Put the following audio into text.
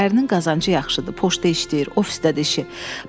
Ərinin qazancı yaxşıdır, poçtda işləyir, ofisdədir işi.